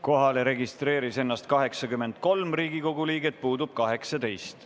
Kohalolijaks registreeris ennast 83 Riigikogu liiget, puudub 18.